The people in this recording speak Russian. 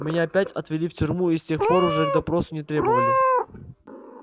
меня опять отвели в тюрьму и с тех пор уже к допросу не требовали